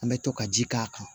An bɛ to ka ji k'a kan